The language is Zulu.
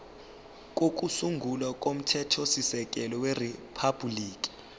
kokusungula komthethosisekelo weriphabhuliki